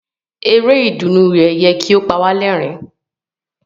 Eré ìdùnnú rẹ yẹ ki o pa wa ni ẹrín.